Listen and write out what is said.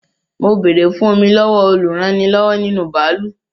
Mo béèrè fún Omi lọ́wọ́ olúrannilọ́wọ́ nínú bàálù